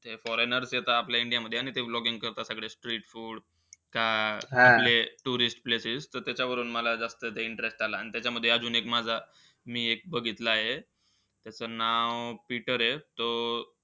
Foreigner ते त आपले इंडियामध्ये आहे आणि ते vlogging करता सगळे streetfood, आपले tourist places. त त्याच्यावरून मला जास्त interest आला. आणि त्याच्यामध्ये अजून माझा मी एक बघितलंय त्याचं नाव पीटर आहे तो,